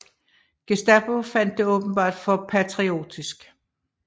Gestapo fandt det åbenbart for patriotisk